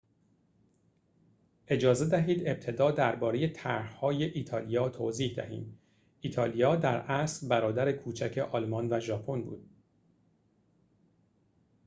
اجازه دهید ابتدا درباره طرح‌های ایتالیا توضیح دهیم ایتالیا در اصل برادر کوچک آلمان و ژاپن بود